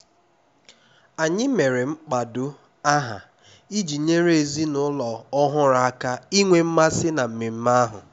anyị mere mkpado aha iji nyere ezinụlọ ọhụrụ aka inwe mmasị na mmemme ahụ